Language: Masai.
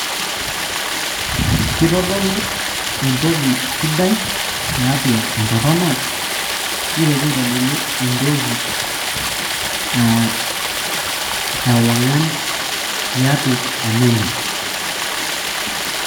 kitodolu entoki sidai tiatua entorrono nitoki aitodolu entoki aa ewang'an tiatua enaimin.